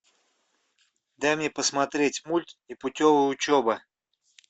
дай мне посмотреть мультик непутевая учеба